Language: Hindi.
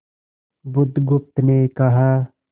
बुधगुप्त ने कहा